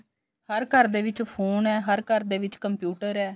ਹਰ ਘਰ ਦੇ ਵਿੱਚ ਫੋਨ ਐ ਹਰ ਘਰ ਦੇ ਵਿੱਚ computer ਐ